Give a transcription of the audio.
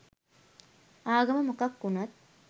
ආගම මොකක් වුනත්